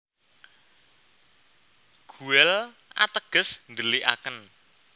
Guel ateges ndhelikaken